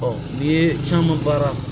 n'i ye caman baara